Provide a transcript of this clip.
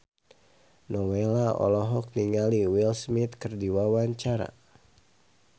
Nowela olohok ningali Will Smith keur diwawancara